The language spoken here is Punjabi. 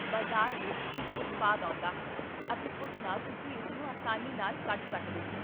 ਬਜ਼ਾਰ ਵਿੱਚ ਇੱਕ ਉਤਪਾਦ ਆਉਂਦਾ ਹੈ, ਅਤੇ ਉਸ ਨਾਲ ਤੁਸੀਂ ਇਸਨੂੰ ਆਸਾਨੀ ਨਾਲ ਕੱਟ ਸਕਦੇ ਹੋ